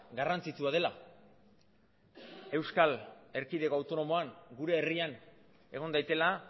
garrantzitsua dela euskal erkidego autonomoan gure herrian egon daitela